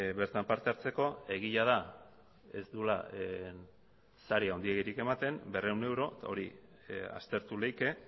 bertan partehartzeko egia da ez duela sari handirik ematen berrehun euro hori aztertu leike